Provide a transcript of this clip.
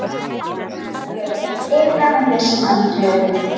Yngri hundar gera þetta frekar en þeir sem eldri eru.